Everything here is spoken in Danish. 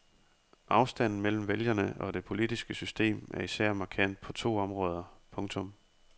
Afstanden mellem vælgerne og det politiske system er især markant på to områder. punktum